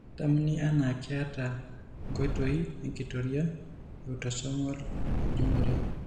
Kedamuni anaa keeta enkoitoi enkitoria eautosomal enjung'ore.